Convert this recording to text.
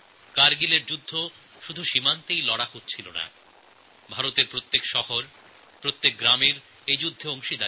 কারগিলের যুদ্ধ কেবল দেশের সীমারেখাতেই হয়নি ভারতের প্রতিটি শহর প্রতিটি গ্রামের যোগ ছিল এই যুদ্ধের সঙ্গে